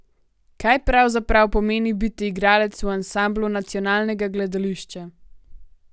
Kaj pravzaprav pomeni biti igralec v ansamblu nacionalnega gledališča?